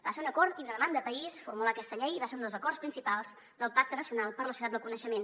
va ser un acord i una demanda de país formular aquesta llei i va ser un dels acords principals del pacte nacional per a la societat del coneixement